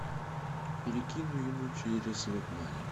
перекину ему через веб мани